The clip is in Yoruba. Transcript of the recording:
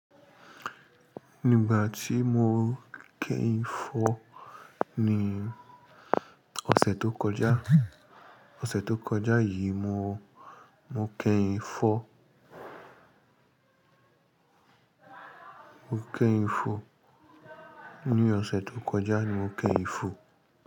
Ní ìgbà tí mo kẹ́yìn ń fọ́ ní ọ̀sẹ̀ tó kọjá, ọ̀sẹ̀ tó kọjá yìí mo, mo kẹ́yìn ń fọ́, mo kẹ́yìn ń fọ́. Ní ọ̀sẹ̀ tó kọjá ni mo kẹ́yìn ń fọ́